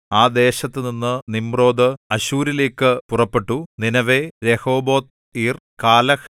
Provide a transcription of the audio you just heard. ആ ദേശത്തുനിന്ന് നിമ്രോദ് അശ്ശൂരിലേക്ക് പുറപ്പെട്ടു നീനെവേ രെഹോബൊത്ത് ഇർ കാലഹ്